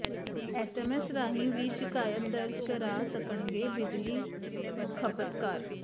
SMS ਰਾਹੀਂ ਵੀ ਸ਼ਿਕਾਇਤ ਦਰਜ ਕਰਾ ਸਕਣਗੇ ਬਿਜਲੀ ਖ਼ਪਤਕਾਰ